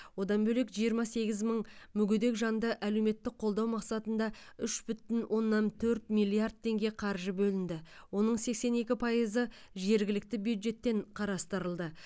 одан бөлек жиырма сегіз мың мүгедек жанды әлеуметтік қолдау мақсатында үш бүтін оннан төрт миллиард теңге қаржы бөлінді оның сексен екі пайызы жергілікті бюджеттен қарастырылды